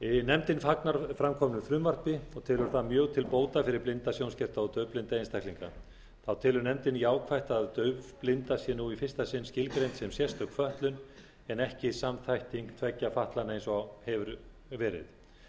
nefndin fagnar framkomnu frumvarpi og telur það mjög til bóta fyrir blinda sjónskerta og daufblinda einstaklinga þá telur nefndin jákvætt að daufblinda sé nú í fyrsta sinn skilgreind sem sérstök fötlun en ekki samþætting tveggja fatlana eins og hefur verið